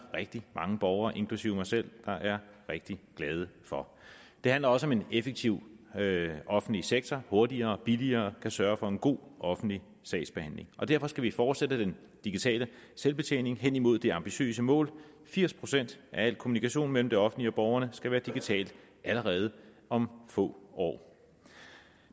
rigtig mange borgere inklusive mig selv der er rigtig glade for det handler også om en effektiv offentlig sektor hurtigere og billigere kan sørge for en god offentlig sagsbehandling og derfor skal vi fortsætte den digitale selvbetjening henimod det ambitiøse mål at firs procent af al kommunikation mellem det offentlige og borgerne skal være digitalt allerede om få år